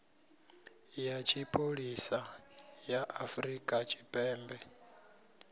ya tshipholisa ya afrika tshipembe